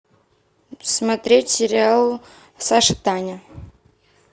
смотреть сериал саша таня